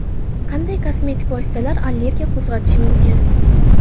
Qanday kosmetik vositalar allergiya qo‘zg‘atishi mumkin?